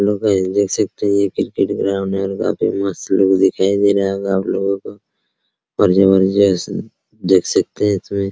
Hello guys देख सकते है ये क्रिकेट ग्राउंड है और काफी मस्त लुक दिखाई दे रहा होगा आपलोगो को और जबरदस्त देख सकते हैं इसमें ।